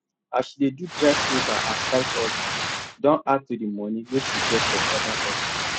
as she dey do drive uber as side hustle don add to the money wey she get for other hustle